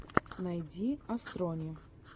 найди астрони